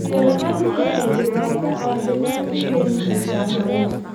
Biyo la�aantu waxay dhibaato caafimaad u keeni kartaa xoolaha.